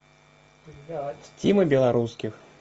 тима белорусских